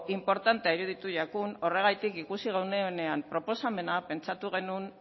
inportantea iruditu jakun horregatik ikusi genuenean proposamena pentsatu genuen